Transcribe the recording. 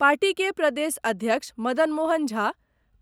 party के प्रदेश अध्यक्ष मदन मोहन झा,